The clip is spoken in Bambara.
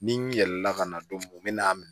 Ni n yɛlɛla ka na don mun na